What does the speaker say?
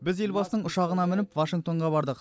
біз елбасының ұшағына мініп вашингтонға бардық